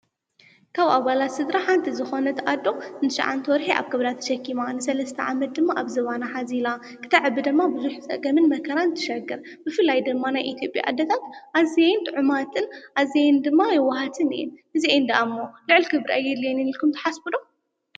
ካብ ኣባላት ስድራ ሓንቲ ዝኾነት ኣዶ ን9ተ ወርሒ ኣብ ከብዳ ተሸኪማ ፤ ንሰለስተ ዓመት ድማ ኣብ ዝባና ሓዚላ ክተዕቢ ድማ ብዙሕ ፀገምን መከራን ትሸግር ። ብፍላይ ድማ ናይ ኢትዮጰያ ኣዴታት ኣዝየን ጡዑማትን ኣዝየን ድማ የዋሃትን እየን። እዚኣን ደኣ እሞ ልዕል ክብሪ ኣየድልየንን ኢልኩም ትሓስቡ ዶ?